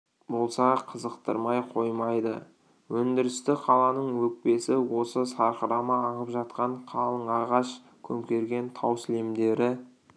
болса қызықтырмай қоймайды өндірісті қаланың өкпесі осы сарқырама ағып жатқан қалың ағаш көмкерген тау сілемдері